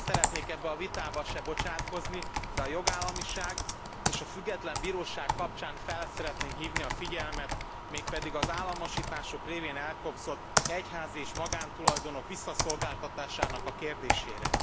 Nem szeretnék ebbe a vitába se bocsátkozni, de a jogállamiság és a független bíróság kapcsán fel szeretném hívni a figyelmet, mégpedig az államosítások révén elkobzott egyházi és magántulajdonok visszaszolgáltatásának a kérdésére.